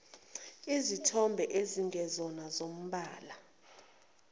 izithombe ezingezona zombala